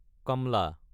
কামলা